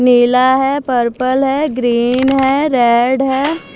नीला है पर्पल है ग्रीन है रेड है।